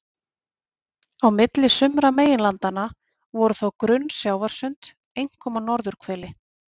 Á milli sumra meginlandanna voru þó grunn sjávarsund, einkum á norðurhveli.